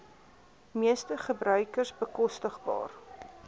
meeste gebruikers bekostigbaar